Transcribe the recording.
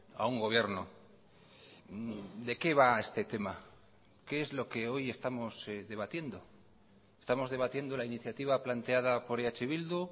a un gobierno de qué va este tema qué es lo que hoy estamos debatiendo estamos debatiendo la iniciativa planteada por eh bildu